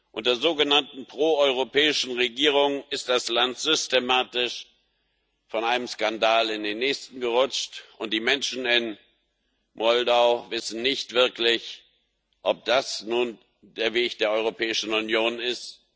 Unter sogenannten proeuropäischen Regierungen ist das Land systematisch von einem Skandal in den nächsten gerutscht, und die Menschen in Moldau wissen nicht wirklich, ob das nun der Weg der Europäischen Union ist.